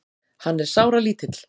Hann er sáralítill.